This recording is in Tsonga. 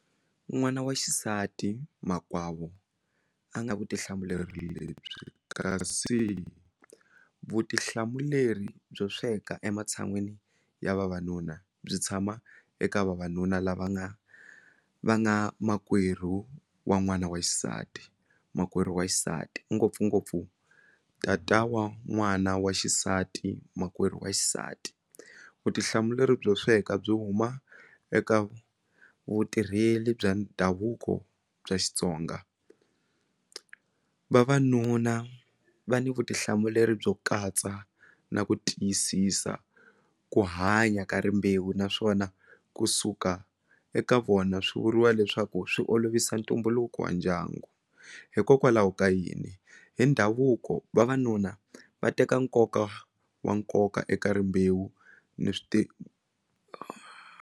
N'wana wa xisati makwavo a nga vutihlamuleri lebyi kasi vutihlamuleri byo sweka ematshan'wini ya vavanuna byi tshama eka vavanuna lava nga va nga makwerhu wa n'wana wa xisati makwerhu wa xisati ngopfungopfu tata wa n'wana wa xisati makwerhu wa xisati vutihlamuleri byo sweka byi huma eka vutirheli bya ndhavuko bya Xitsonga vavanuna va ni vutihlamuleri byo katsa na ku tiyisisa ku hanya ka rimbewu naswona kusuka eka vona swi vuriwa leswaku swi olovisa ntumbuluko wa ndyangu hikokwalaho ka yini hi ndhavuko vavanuna va teka nkoka wa nkoka eka rimbewu ni swi .